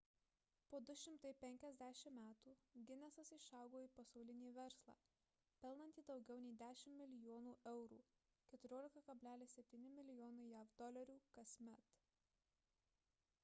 po 250 metų ginesas išaugo į pasaulinį verslą pelnantį daugiau nei 10 milijonų eurų 14,7 mln. jav dolerių kasmet